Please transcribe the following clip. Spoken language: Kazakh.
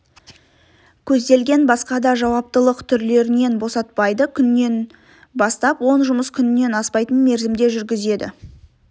көзделген басқа да жауаптылық түрлерінен босатпайды күннен бастап он жұмыс күнінен аспайтын мерзімде жүргізеді